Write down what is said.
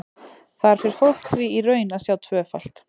Þar fer fólk því í raun að sjá tvöfalt.